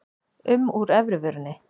um úr efri vörinni.